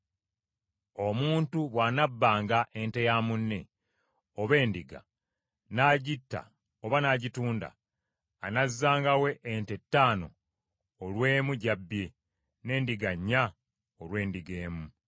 “Omuntu bw’anabbanga ente ya munne, oba endiga, n’agitta oba n’agitunda; anazzangawo ente ttaano olw’emu gy’abbye, n’endiga nnya olw’endiga emu.